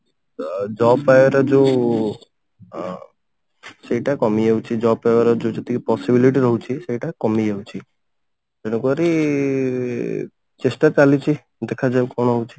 ଅ job ପାଇବାର ଯଉ ଅ ସେଇଟା କମିଯାଉଛି job ପାଇବାର ଯଉ ଯେତିକି possibility ରହୁଛି ସେଇଟା କମିଯାଉଛି ସେଇଠାକୁ ଆହୁରି ଚେଷ୍ଟା ଚାଲିଛି ଦେଖାଯାଉ କଣ ହଉଛି